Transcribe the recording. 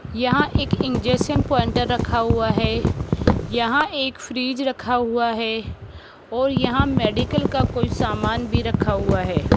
यहां एक injection pointer रखा हुआ है यहां एक फ्रिज रखा हुआ है और यहां मेडिकल का कोई सामान भी रखा हुआ है।